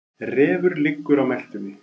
Refur liggur á meltunni.